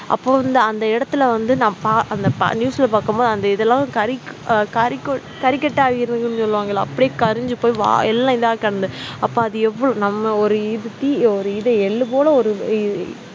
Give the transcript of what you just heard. அப்ப வந்து அந்த இடத்துல வந்து நான் பா அந்த பா news ல பார்க்கும் போது அந்த இதெல்லாம் கரிக் அஹ் கரிக்கொ கரிக்கட்ட ஆயிரும்னு சொல்லுவாங்கல்ல அப்படியே கரிஞ்சி போயி வா எல்லாம் இதா கடந்தது அப்ப அது எவ்ள நம்ம ஒரு இது தீ ஒரு இது எள்ளு போல ஒரு இ